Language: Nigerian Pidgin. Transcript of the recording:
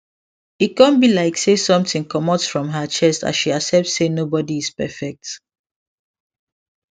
e con be like say something comot from her chest as she accept say nobody is perfect